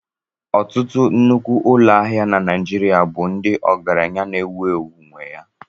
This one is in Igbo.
Ọtụtụ nnukwu ụlọ ahịa na Naijiria bụ ndị ọgaranya na-ewu ewu nwé ya